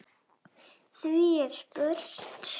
Hví er spurt?